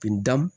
Bin dan